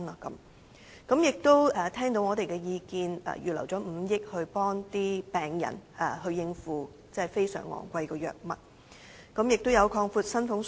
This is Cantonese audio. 政府亦聽到我們的意見，預留了5億元幫助病人應付非常昂貴藥物的費用。